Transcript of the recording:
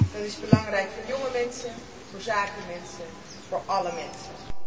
Dat is belangrijk voor jonge mensen, voor zakenmensen, voor alle mensen.